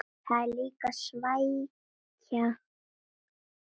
Það er líklega svækjan